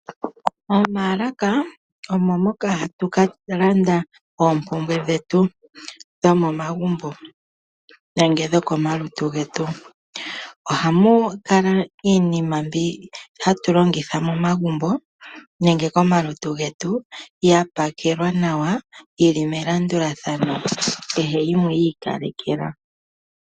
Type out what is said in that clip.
Omalaka Omo Moka hatulanda oopumbwe dhetu dhomo magumbo nenge dhokomaluntu ngetu, ohamukala iinima mbi hatu longitha momagumbo nenge komaluntu ngetu yapakelwa nawa yili melandulathano kehe yimwe yikalekelwa.